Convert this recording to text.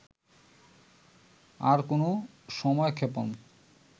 আর কোনো সময়ক্ষেপণ